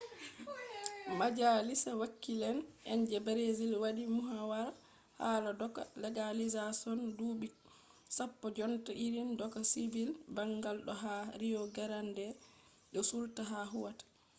majalisa wakile’en je brazil wadi muhawara hala doka legalizashon dubi 10 jonta irin doka sivil bangal do ha rio grande do sul ta huwata